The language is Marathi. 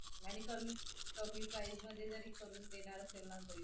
आणि कमी कमी prize मध्ये जरी करून देणार असेल ना तरी